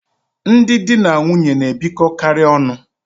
Ndị di na nwunye na-ebikọkarị ọnụ.